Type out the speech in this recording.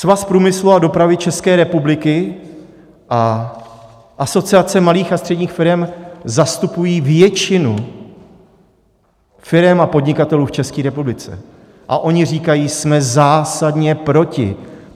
Svaz průmyslu a dopravy České republiky a Asociace malých a středních firem zastupují většinu firem a podnikatelů v České republice a oni říkají: Jsme zásadně proti!